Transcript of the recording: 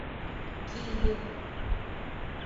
киев